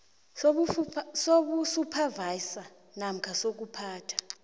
sobusuphavayiza namkha sokuphatha